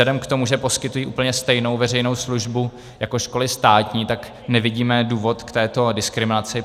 Vzhledem k tomu, že poskytují úplně stejnou veřejnou službu jako školy státní, tak nevidíme důvod k této diskriminaci.